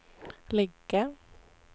lägga